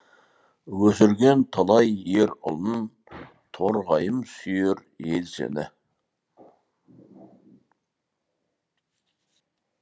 өсірген талай ер ұлын торғайым сүйер ел сені